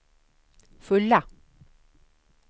fulla